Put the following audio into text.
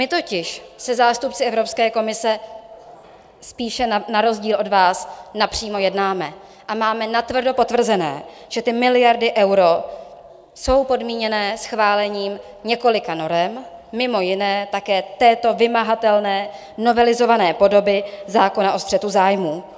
My totiž se zástupci Evropské komise spíše na rozdíl od vás napřímo jednáme a máme natvrdo potvrzené, že ty miliardy eur jsou podmíněné schválením několika norem, mimo jiné také této vymahatelné novelizované podoby zákona o střetu zájmů.